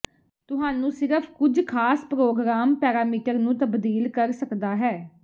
ਤੁਹਾਨੂੰ ਸਿਰਫ ਕੁਝ ਖਾਸ ਪਰੋਗਰਾਮ ਪੈਰਾਮੀਟਰ ਨੂੰ ਤਬਦੀਲ ਕਰ ਸਕਦਾ ਹੈ